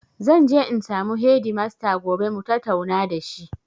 Zanje in samu hedimasta gobe mutatauna da shi